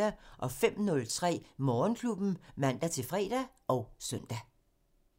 05:03: Morgenklubben (man-fre og søn)